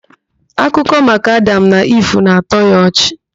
Akụkọ maka Adam na Iv na-atọ ya ọchị